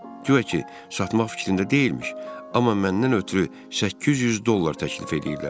Güya ki, satmaq fikrində deyilmiş, amma məndən ötrü 800 dollar təklif eləyirlər.